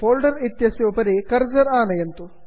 folder इत्यस्य उपरि cursor आनयन्तु